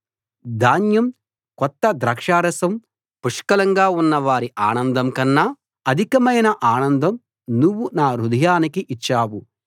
ధాన్యం కొత్త ద్రాక్షారసం పుష్కలంగా ఉన్న వారి ఆనందం కన్నా అధికమైన ఆనందం నువ్వు నా హృదయానికి ఇచ్చావు